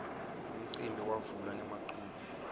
umcimbi wavula ngemaculo